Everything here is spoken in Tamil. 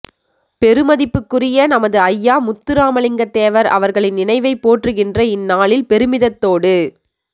பெருமதிப்புக்குரிய நமது ஐயா முத்துராமலிங்கத்தேவர் அவர்களின் நினைவைப் போற்றுகின்ற இந்நாளில் பெருமிதத்தோடு